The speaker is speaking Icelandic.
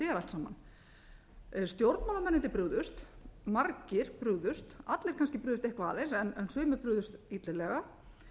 er allt saman stjórnmálamennirnir brugðust margir brugðust allir kannski brugðust eitthvað aðeins en sumir brugðust illilega